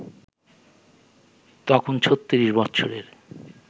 তখন ৩৬ বৎসরের